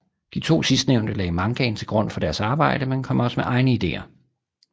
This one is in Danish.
De to sidstnævnte lagde mangaen til grund for deres arbejde men kom også med egne ideer